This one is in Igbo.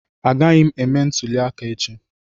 Agaghị m eme ntuli aka echi